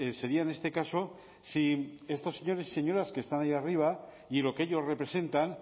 sería en este caso si estos señores y señoras que están ahí arriba y lo que ellos representan